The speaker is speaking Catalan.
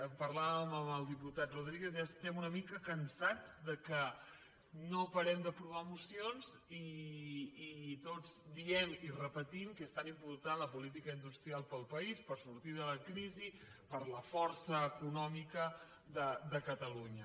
en parlàvem amb el diputat rodríguez ja estem una mica cansats que no parem d’aprovar mocions i tots diem i repetim que és tan important la política industrial per al país per sortir de la crisi per a la força econòmica de catalunya